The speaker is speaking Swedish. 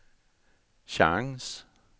chans